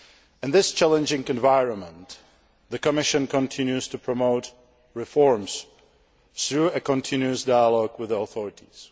it. In this challenging environment, the Commission continues to promote reforms through a continuous dialogue with the authorities.